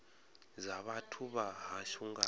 dza vhathu vha hashu nga